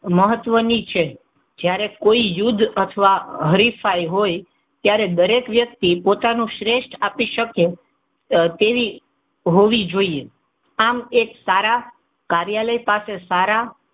મહત્વની છે. જ્યારે કોઇ યુદ્ધ અથવા હરીફાઈ હોય, ત્યારે દરેક વ્યક્તિ પોતાનું શ્રેષ્ઠ આપી શકે તેવી હોવી જોઈ. આમ એક સારા કાર્યાલય સાથે સારા,